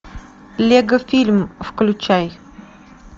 лего фильм включай